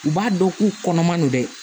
U b'a dɔn k'u kɔnɔman don dɛ